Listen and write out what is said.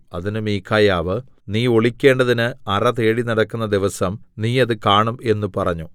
അതിന് മീഖായാവ് നീ ഒളിക്കേണ്ടതിന് അറ തേടിനടക്കുന്ന ദിവസം നീ അത് കാണും എന്ന് പറഞ്ഞു